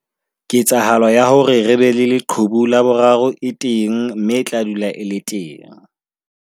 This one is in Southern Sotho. Ketsahalo ya hore re be le leqhubu la boraro e teng mme e tla dula e le teng.